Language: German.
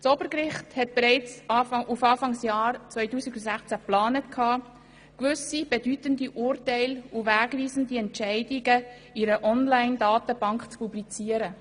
Das Obergericht hatte bereits auf Beginn des Jahres 2016 hin geplant, gewisse bedeutende Urteile und wegweisende Entscheide in einer Online-Datenbank zu publizieren.